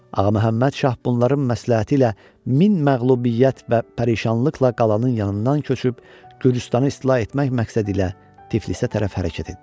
Ağaməmməd şah bunların məsləhəti ilə min məğlubiyyət və pərişanlıqla qalanın yanından köçüb Gürcüstanı istila etmək məqsədi ilə Tiflisə tərəf hərəkət etdi.